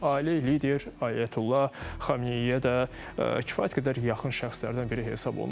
Ailə lideri Ayətullah Xameneyə də kifayət qədər yaxın şəxslərdən biri hesab olunurdu.